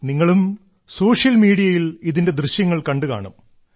നിങ്ങളും സോഷ്യൽ മീഡിയയിൽ ഇതിന്റെ ദൃശ്യങ്ങൾ കണ്ടുകാണും